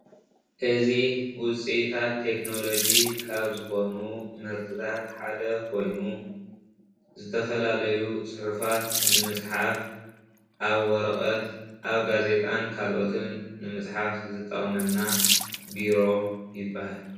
እዚ ዉፅኢታት ቴክኖሎጂ ካብ ዝኾኑ ምህርትታት ሓደ ኮይኑ ዝተፈላለዩ ፁሑፋት ንምፅሓፍ ኣብ ወረቐት፣ ኣብ ጋዜጣን ካልኦትን ንምፅሓፍ ዝጠቕመና ቢሮ ይብሃል፡፡